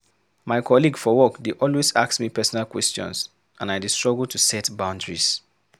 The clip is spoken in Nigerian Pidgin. My colleague for work dey always ask me personal questions, and I dey struggle to set boundaries.